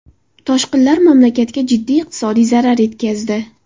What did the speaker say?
Toshqinlar mamlakatga jiddiy iqtisodiy zarar yetkazdi.